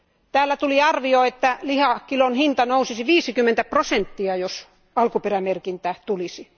Täällä tuli arvio, että lihakilon hinta nousisi 50 prosenttia, jos alkuperämerkintä tulisi.